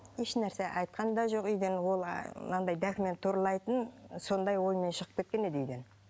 ешнәрсе айтқан да жоқ үйден ол мынандай документ туралайтын сондай оймен шығып кеткен еді үйден